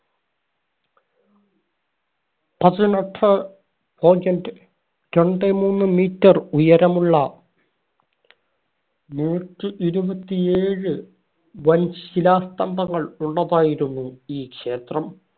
പതിനെട്ട് point രണ്ടേ മൂന്ന് meter ഉയരമുള്ള നൂറ്റി ഇരുപത്തിയേഴ് വൻ ശിലാസ്തംഭങ്ങൽ ഉള്ളതായിരുന്നു ഈ ക്ഷേത്രം.